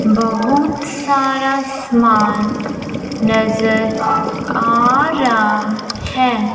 बहुत सारा सामान नजर आ रहा है।